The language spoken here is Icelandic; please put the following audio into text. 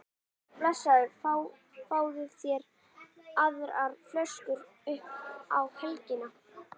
Svo blessaður fáðu þér aðra flösku upp á helgina